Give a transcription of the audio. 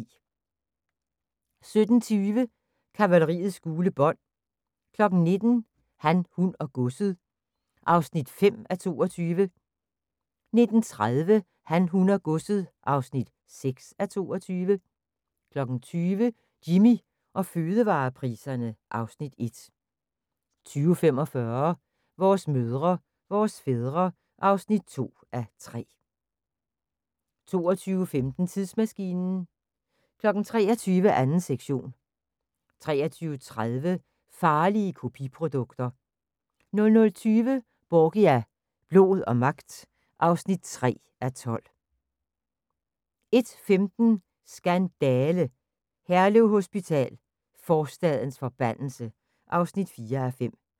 17:20: Kavaleriets gule bånd 19:00: Han, hun og godset (5:22) 19:30: Han, hun og godset (6:22) 20:00: Jimmy og fødevarepriserne (Afs. 1) 20:45: Vores mødre, vores fædre (2:3) 22:15: Tidsmaskinen 23:00: 2. sektion 23:30: Farlige kopiprodukter 00:20: Borgia – blod og magt (3:12) 01:15: Skandale! - Herlev Hospital: forstadens forbandelse (4:5)